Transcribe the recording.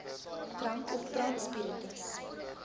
drank of brandspiritus